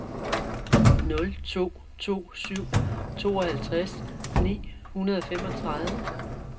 nul to to syv tooghalvtreds ni hundrede og femogtredive